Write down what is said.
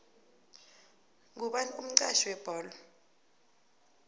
ngubani umxhatjhi webholo